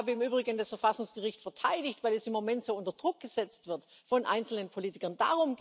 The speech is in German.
Ich habe im Übrigen das Verfassungsgericht verteidigt, weil es im Moment so unter Druck gesetzt wird von einzelnen Politikern.